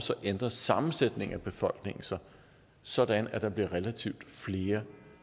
ændrer sammensætningen af befolkningen sig sådan at der bliver relativt flere